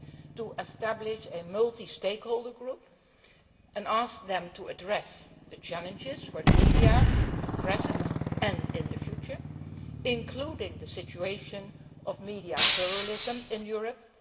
to establish a multi stakeholder group and ask them to address the challenges for the media at present and in the future, including the situation of media pluralism in Europe.